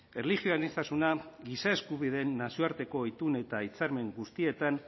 erlijio aniztasuna giza eskubideen nazioarteko itun eta hitzarmen guztietan